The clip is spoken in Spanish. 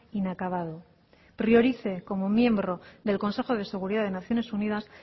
inacabado priorice como miembro del consejo de seguridad de naciones unidas